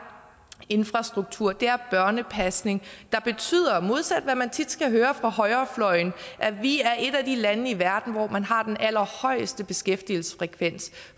infrastruktur det er børnepasning og det betyder modsat hvad man tit skal høre fra højrefløjen at vi er et af de lande i verden hvor man har den allerhøjeste beskæftigelsesfrekvens